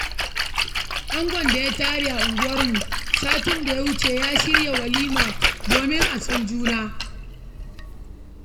Angon da ya tare a unguwarmu satin da ya wuce ya shirya walima domin a san juna.